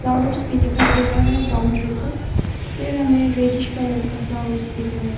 Flowers भी दिखाई दे रहा है बाउंड्री पर फिर हमें रेडिश कलर का फ्लावर्स भी दिख रहा है।